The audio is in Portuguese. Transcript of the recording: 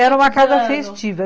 Era uma casa festiva.